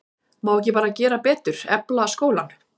Má ekki bara gera betur, efla skólann?